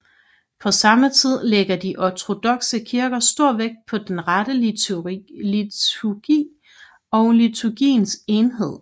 På samme tid lægger de ortodokse kirker stor vægt på den rette liturgi og liturgiens enhed